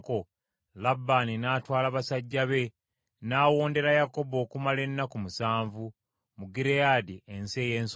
Labbaani n’atwala basajja be, n’awondera Yakobo okumala ennaku musanvu, mu Giriyaadi ensi ey’ensozi.